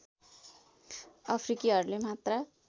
अफ्रिकीहरुले मात्र